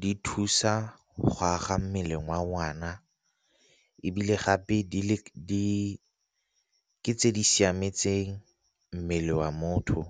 di thusa go aga mmele ngwana, ebile gape tse di siametseng mmele wa motho.